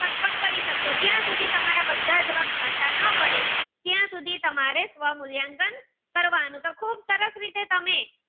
સુધી તમારા બધા જ જવાબ સાચા ન પડે ત્યાં સુધી તમારે સ્વ મૂલ્યાંકન કરવાનું તો તમે ખૂબ સરસ રીતે